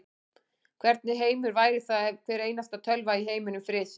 Hvernig heimur væri það ef hvar einasta tölva í heiminum frysi.